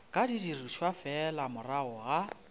ka dirišwa fela morago ga